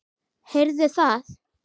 Heyrðu það!